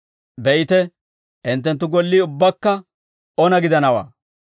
Be'ite, hinttenttu gollii ubbakka ona gidanawaa.